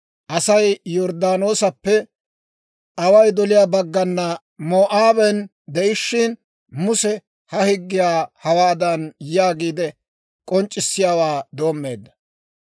Asay Yorddaanoosappe away doliyaa baggana Moo'aaben de'ishshin, Muse ha higgiyaa hawaadan yaagiide k'onc'c'issiyaawaa doommeedda.